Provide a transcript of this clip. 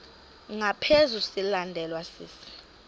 ngaphezu silandelwa sisi